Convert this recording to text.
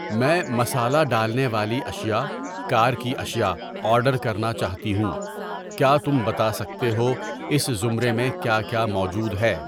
میں مسالا ڈالنے والی اشیاء, کار کی اشیاء آرڈر کرنا چاہتی ہوں، کیا تم بتا سکتے ہو اس زمرے میں کیا کیا موجود ہے؟